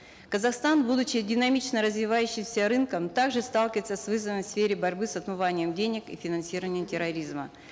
казахстан будучи динамично развивающимся рынком так же сталкивается с вызовами в сфере борьбы с отмыванием денег и финансированием терроризма